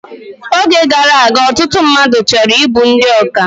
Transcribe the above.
Oge gara aga, ọtụtụ mmadụ chọrọ ịbụ ndị ọkà